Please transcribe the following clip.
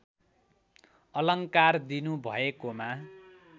अलङ्कार दिनुभएकोमा